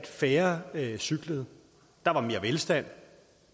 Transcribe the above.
færre cyklede der var mere velstand